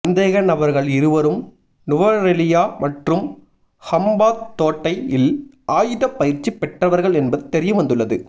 சந்தேகநபர்கள் இருவரும் நுவரெலியா மற்றும் ஹம்பாந்தோட்டையில் ஆயுதப் பயிற்சி பெற்றவர்கள் என்பது தெரியவந்துள்ளது